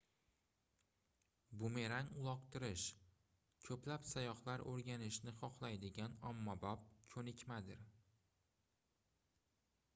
bumerang uloqtirish koʻplab sayyohlar oʻrganishni xohlaydigan ommabop koʻnikmadir